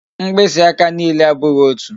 Mkpịsị aka niile abụghị otu